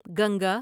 Ganga